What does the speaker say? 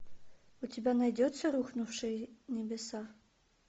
у тебя найдется рухнувшие небеса